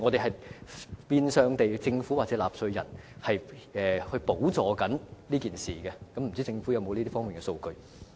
這變相是由政府或納稅人補助外傭的醫療費用，不知政府有否這方面的數據？